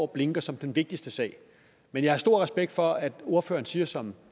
blinker som den vigtigste sag men jeg har stor respekt for at ordføreren siger som